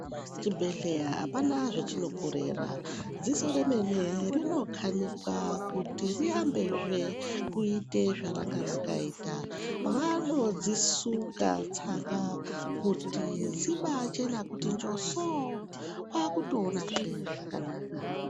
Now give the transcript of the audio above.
Chibhedhlera apana zvechinokorera .Dziso remene rinokhanikwa kuti rirambe zve kuite zvaranga rakaita. Vanodzisuka tsanga kuti dzibaachena kuti njusuu kwakutoonazve zvakanaka.